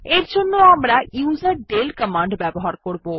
এর জন্য আমরা ইউজারডেল কমান্ড ব্যবহার করবো